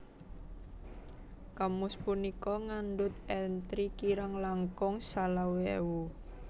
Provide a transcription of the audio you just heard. Kamus punika ngandhut entri kirang langkung selawe ewu